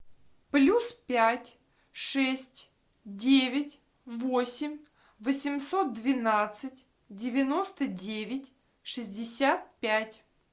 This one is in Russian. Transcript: плюс пять шесть девять восемь восемьсот двенадцать девяносто девять шестьдесят пять